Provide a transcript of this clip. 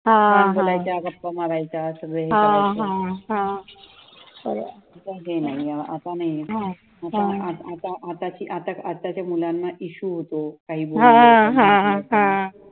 छान बोलायच्या, गप्पा मारायचे सगळे. आता नाही, आता आता आताच्या मुलांना issue होतो